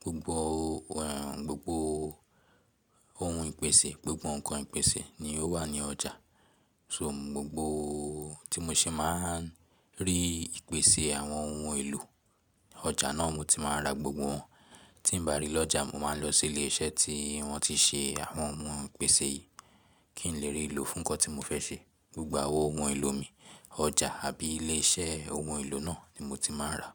Gbogbo ohun, gbogbo ohun ìpèsè, gbogbo ǹkan ìpèsè ni ó wà ní ọjà. So gbogbo tí mo ṣe má a rí ìpèsè àwọn ohun èlò, ọjà náà mo ti máa rà gbogbo wọn. Tí ǹ bá rí lọ́jà mo máa lọ sí ilé iṣẹ́ tí wọ́n ti se àwọn ohun ìpèsè yìí, kí n lè rí ìlò fún ǹkan tí mo fẹ́ ṣe. Gbogbo àwọn ohun èlò mi, ọjà àbí ilé iṣẹ́ ohun èlò náà ni mo ti máa rà.